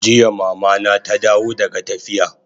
Jiya Mama na ta dawo daga tafiya